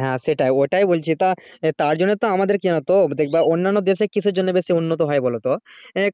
হ্যা সেটাই ওটাই বলছি তা সেটা তার জন্য তো আমাদের কিনা তো দেখব অন্যান দেশে কি জন্যে উন্নত বলতো